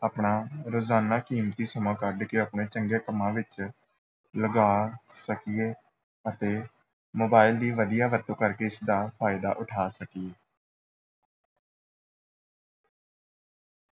ਆਪਣਾ ਰੋਜ਼ਾਨਾ ਕੀਮਤੀ ਸਮਾਂ ਕੱਢ ਕੇ ਆਪਣੇ ਚੰਗੇ ਕੰਮਾਂ ਵਿੱਚ ਲਗਾ ਸਕੀਏ ਅਤੇ mobile ਦੀ ਵਧੀਆ ਵਰਤੋਂ ਕਰਕੇ ਇਸਦਾ ਫ਼ਾਇਦਾ ਉੱਠਾ ਸਕੀਏ।